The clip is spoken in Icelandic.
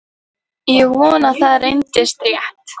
Ég vonaði að það reyndist rétt.